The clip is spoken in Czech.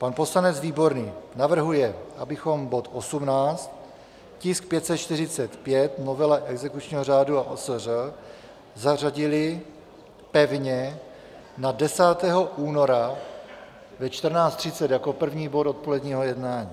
Pan poslanec Výborný navrhuje, abychom bod 18, tisk 545, novela exekučního řádu a OSŘ, zařadili pevně na 10. února ve 14.30 jako první bod odpoledního jednání.